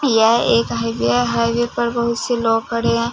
यह एक हाइवे है हाइवे पर बहुत से लोग खड़े है।